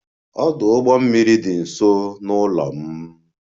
Ọdụ ụgbọ mmiri dị nso n'ụlọ m